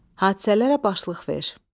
Hadisələrə başlıq ver.